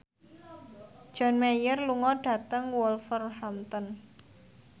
John Mayer lunga dhateng Wolverhampton